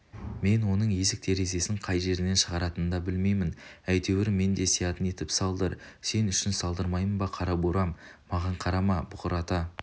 мен оның есік-терезесін қай жерінен шығаратынын да білмеймін әйтеуір мен де сиятын етіп салдыр сен үшін салдырмаймын ба қара бурам маған қарама бұрқырата